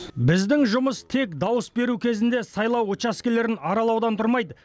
біздің жұмыс тек дауыс беру кезінде сайлау учаскелерін аралаудан тұрмайды